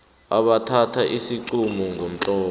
abathatha isiqunto ngomtlolo